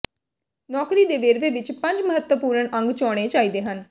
ਨੌਕਰੀ ਦੇ ਵੇਰਵੇ ਵਿੱਚ ਪੰਜ ਮਹੱਤਵਪੂਰਣ ਅੰਗ ਹੋਣੇ ਚਾਹੀਦੇ ਹਨ